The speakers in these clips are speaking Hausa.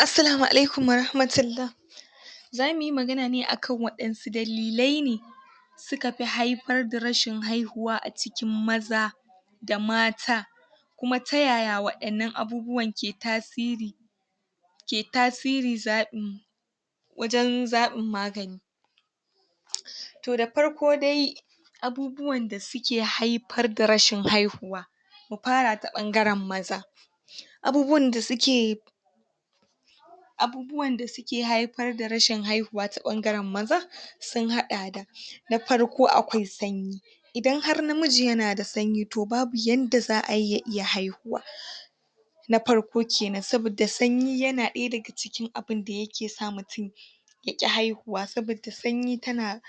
Assalamu Alaikum Wa Rahmatullah za muyi magana ne akan wadansu dalilai ne suka fi haifar da rashin haihuwa a cikin maza da mata, kuma ta yaya wa'innan abubuwan ke tasiri ke tasiri zaɓin mu wajan zaɓin magani toh da parko dai abubuwan da suke haipar da rashin haihuwa mu para ta ɓangaran maza, abubuwan da suke abubuwan da suke haifar da rashin haihuwa ta ɓangaran maza sun haɗa da na farko akwai sanyi, idan har na miji yana da sanyi toh babu yanda za'ayi ya iya haihuwa na parko kenan sabida sanyi yana daya daga cikin abinda yake sa mutum ya ƙi haihuwa sabida sanyi tana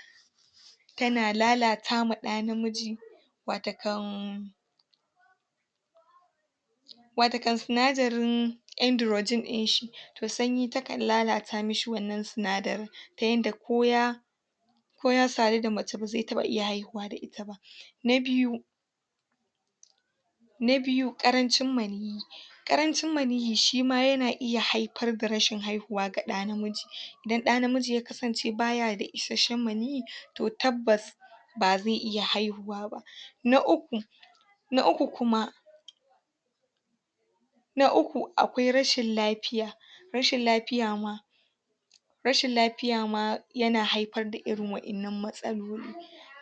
tana lalata ma ɗa namiji watakan watakan sinadarin androgen dinshi toh sanyi takan lalata mishi wannan sinadarin ta yanda ko ya koya saadu da mace baze taba iya haihuwa da ita ba. Na biyu, na biyu ƙarancin maniyyi, arancin maniyyi shima yana iya haipar da rashin haihuwa ga daa namiji idan daa namiji ya kasance baya da isasshen maniyyi, toh tabbas toh tabbas baze iya haihuwa ba. Na uku, Na uku, na uku kuma na uku akwai rashin lafiya rashin lapiya ma rashin lapiya ma yana haipar da irin wa'innan matsaloli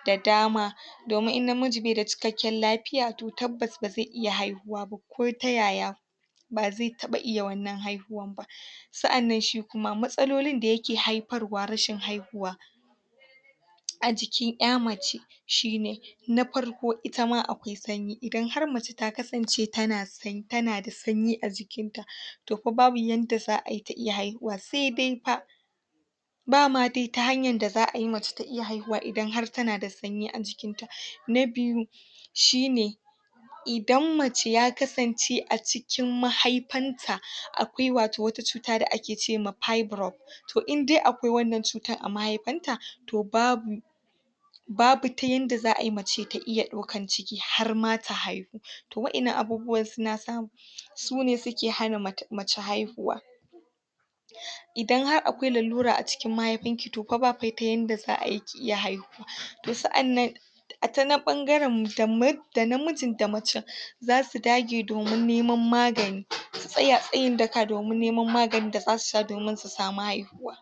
da dama domin in namiji beda cikakken lafiya toh tabbas ba ze iya haihuwa ba ko ta yaya baa ze taɓa iya wannan haihuwan ba. Sa'annan shi kuma matsalolin da yake haifarwa rashin haihuwa a jikin ƴa mace shine na farko itama akwai sanyi, idan har mace ta kasance tana tana da sanyi a jikinta toh fa babu yanda za'ayi ta iya haihuwa se dai pa ba ma dai ta hanyan da za'ayi mace ta iya haihuwa idan har tana da sanyi a jikinta. Na biyu, shine idan mace ya kasance a cikin mahaipan ta akwai wato wata cuta da ake cewa fibriod toh indai akwai wannan cutan a mahaifan ta toh babu babu ta yanda za'ayi mace ta iya ɗaukan ciki harma ta haihu, toh wa'innan abubuwan suna sa sune suke hana mace haihuwa. Idan har akwai lalura a cikin mahaifin ki to pa ba pa yanda za'ayi ki iya haihuwa toh sa'annan a tanan ɓangaran da namijin da macen za su dage domin neman magani su tsaya tsayin daka domin neman maganin da zasu sha domin su samu haihuwa.